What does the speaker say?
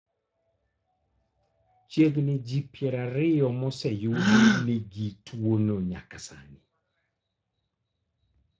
Chiegni ji piero ario moseyudi ni nigi tuo no nyaka sani .